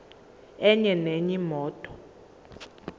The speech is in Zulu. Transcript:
enye nenye imoto